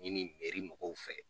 Ɲini mɔgɔw fɛ